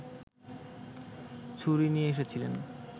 ছুরি নিয়ে এসেছিলেন